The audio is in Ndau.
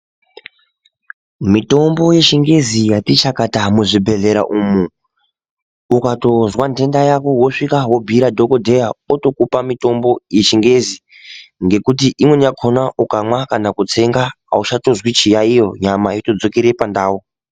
Mitombo yechingezi yatichakata muzvibhedhlera umo, ukatonzva ndenda yako, woswika wobuyira dhokodheya otokupa mitombi yechingezi, ngekuti imweni yakhona ukamwa kana kutsenga hawuchatozvi chiyayiyo, nyama yotodzokere pandawo.